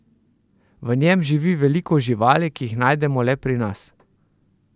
V njem živi veliko živali, ki jih najdemo le pri nas.